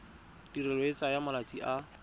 tirelo e tsaya malatsi a